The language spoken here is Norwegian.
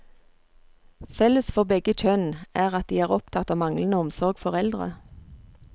Felles for begge kjønn er at de er opptatt av manglende omsorg for eldre.